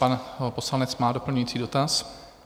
Pan poslanec má doplňující dotaz.